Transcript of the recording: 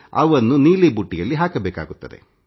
ಇವುಗಳನ್ನು ನೀಲಿ ಬುಟ್ಟಿಯಲ್ಲಿ ಹಾಕಬೇಕಾಗುತ್ತದೆ